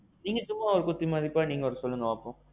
நீங்க ஒரு குத்து மதிப்பா சொல்லுங்களேன் பாப்போம்.